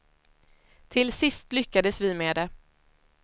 Till sist lyckades vi med det.